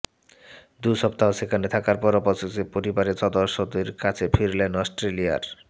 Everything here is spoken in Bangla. দু সপ্তাহ সেখানে থাকার পর অবশেষে পরিবারের সদস্যদের কাছে ফিরলেন অস্ট্রেলিয়ার